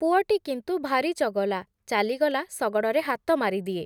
ପୁଅଟି କିନ୍ତୁ ଭାରି ଚଗଲା, ଚାଲିଗଲା ଶଗଡ଼ରେ ହାତ ମାରିଦିଏ ।